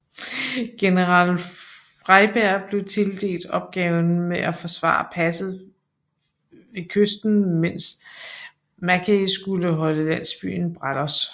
General Freyberg fik tildelt opgaven med at forsvare passet ved kysten mens Mackay skulle holde landsbyen Brallos